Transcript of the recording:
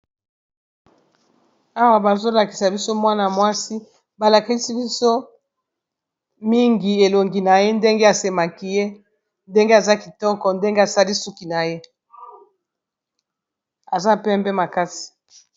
awa bazolakisa biso mwana mwasi balakisi biso mingi elongi na ye ndenge asemaki ye ndenge aza kitoko ndenge asali suki na ye aza pembe makasi